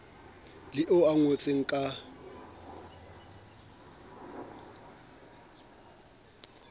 le oo o ngotseng ka